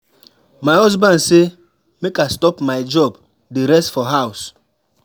My husband say make I stop my job dey rest for house